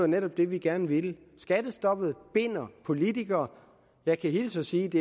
netop det vi gerne ville skattestoppet binder politikere jeg kan hilse og sige at det